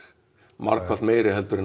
margfalt meiri en